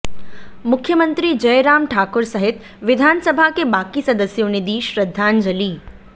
मुख्यमंत्री जयराम ठाकुर सहित विधानसभा के बाकी सदस्यों ने दी श्रद्धांजलि